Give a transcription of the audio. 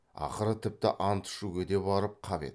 ақыры тіпті ант ішуге де барып қап еді